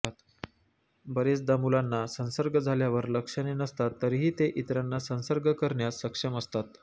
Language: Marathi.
बरेचदा मुलांना संसर्ग झाल्यावर लक्षणे नसतात तरीही ते इतरांना संसर्ग करण्यास सक्षम असतात